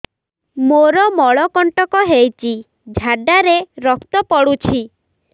ମୋରୋ ମଳକଣ୍ଟକ ହେଇଚି ଝାଡ଼ାରେ ରକ୍ତ ପଡୁଛି